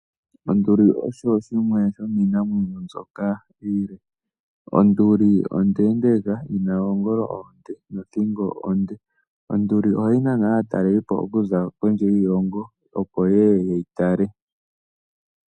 Onduli osho shimwe shomiinamwenyo mbyoka iile. Onduli ondeendeeka yi na oongolo oonde nothingo onde. Onduli ohayi nana aatalelipo okuza kondje yiilongo, opo ye ye ye yi tale.